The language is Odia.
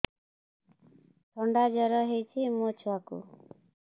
ଥଣ୍ଡା ଜର ହେଇଚି ମୋ ଛୁଆକୁ